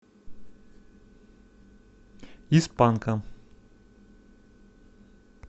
из панка